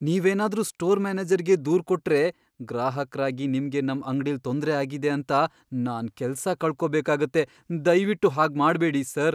ನೀವೇನಾದ್ರೂ ಸ್ಟೋರ್ ಮ್ಯಾನೇಜರ್ಗೆ ದೂರ್ ಕೊಟ್ರೆ, ಗ್ರಾಹಕ್ರಾಗಿ ನಿಮ್ಗೆ ನಮ್ ಅಂಗ್ಡಿಲ್ ತೊಂದ್ರೆ ಆಗಿದೆ ಅಂತ ನಾನ್ ಕೆಲ್ಸ ಕಳ್ಕೊಬೇಕಾಗತ್ತೆ, ದಯ್ವಿಟ್ಟು ಹಾಗ್ಮಾಡ್ಬೇಡಿ, ಸರ್.